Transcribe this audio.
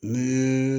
Ni